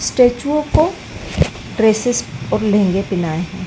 Statue को dresses और लहंगे पेहनाए।